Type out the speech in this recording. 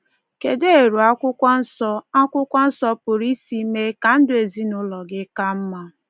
Kedụ eru Akwụkwọ Nsọ Akwụkwọ Nsọ pụrụ isi mee ka ndụ ezinụụlọ gị ka mma?